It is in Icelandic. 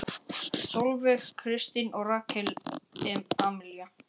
Sólveig Kristín og Rakel Amelía.